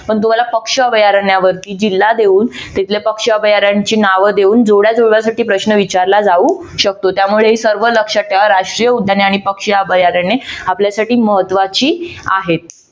पण तुम्हाला पक्षी अभयारण्यावरती जिल्हा देऊन तिथल्या पक्ष भरण्याची नाव देऊन जोड्या जुळण्यासाठी प्रश्न विचारला जाऊ शकतो. त्यामुळे सर्व लक्षात ठेवा. राष्ट्रीय उद्याने आणि पक्षी अभयारण्य आपल्यासाठी महत्त्वाची आहेत.